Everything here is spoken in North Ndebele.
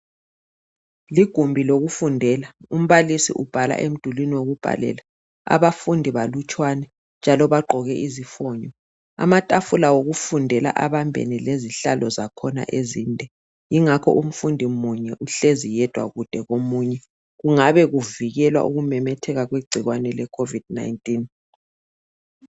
Ligumbi lokufundela, umbhalisi ubhala emdulini wokubhalela, abafundi balutshwane njalo bagqoke izifunyo. Amatafula wokufundela abambene lezihlalo zakhona ezinde, ingakho umfundi munye uhlezi yedwa kude komunye, kungabe kuvikelwa ukumemetheka kwegciwane lekhovidi 19.